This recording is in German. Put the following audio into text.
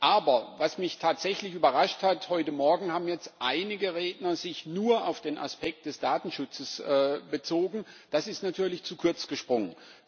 Aber was mich tatsächlich überrascht hat heute Morgen haben sich jetzt einige Redner nur auf den Aspekt des Datenschutzes bezogen. Das ist natürlich zu kurz gesprungen.